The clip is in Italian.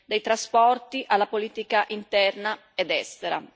dai trasporti alla politica interna ed estera.